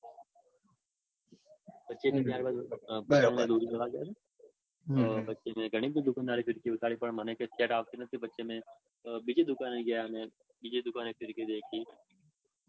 પછી પતંગને દોરી લેવા ગયા ને હમ પછી મેં ઘણી બધી ફીરકી બતાડી દુકાનદારે પણ મને set આવતી નતી પછી અમે બીજી દુકાને ગયા અને બીજી દુકાને ફીરકી દેખી.